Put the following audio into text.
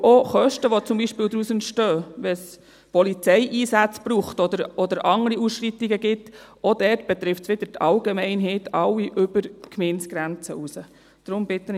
Auch Kosten, die zum Beispiel entstehen, wenn es Polizeieinsätze braucht oder andere Ausschreitungen gibt, betreffen die Allgemeinheit über die Gemeindegrenzen hinaus.